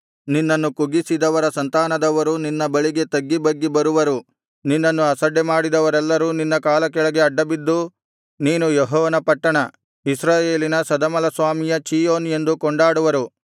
ನಿನ್ನನ್ನು ಕುಗ್ಗಿಸಿದವರ ಸಂತಾನದವರು ನಿನ್ನ ಬಳಿಗೆ ತಗ್ಗಿಬಗ್ಗಿ ಬರುವರು ನಿನ್ನನ್ನು ಅಸಡ್ಡೆಮಾಡಿದವರೆಲ್ಲರೂ ನಿನ್ನ ಕಾಲಕೆಳಗೆ ಅಡ್ಡಬಿದ್ದು ನೀನು ಯೆಹೋವನ ಪಟ್ಟಣ ಇಸ್ರಾಯೇಲಿನ ಸದಮಲಸ್ವಾಮಿಯ ಚೀಯೋನ್ ಎಂದು ಕೊಂಡಾಡುವರು